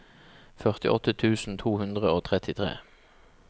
førtiåtte tusen to hundre og trettitre